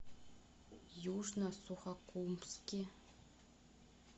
южно сухокумске